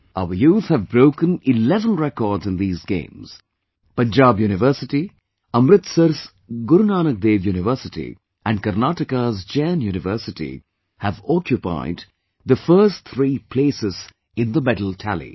Our youth have broken 11 records in these games... Punjab University, Amritsar's Guru Nanak Dev University and Karnataka's Jain University have occupied the first three places in the medal tally